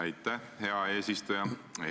Aitäh, hea eesistuja!